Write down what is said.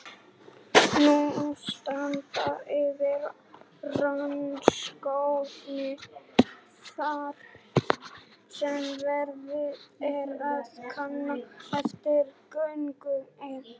Nú standa yfir rannsóknir þar sem verið er að kanna erfðafræðilegan grunn einhverfu.